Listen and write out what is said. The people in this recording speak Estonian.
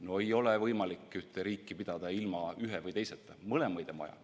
No ei ole võimalik ühte riiki pidada ilma ühe või teiseta, mõlemaid on vaja.